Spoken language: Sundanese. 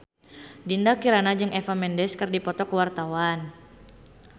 Dinda Kirana jeung Eva Mendes keur dipoto ku wartawan